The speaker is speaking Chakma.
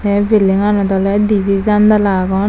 tey buildingganot oley dibey jandala agon.